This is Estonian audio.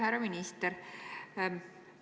Härra minister!